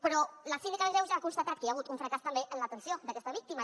però la síndica de greuges ha constatat que hi ha hagut un fracàs també en l’atenció d’aquesta víctima